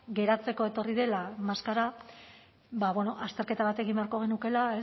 geratzeko etorri dela maskara ba bueno azterketa bat egin bat egin beharko genukeela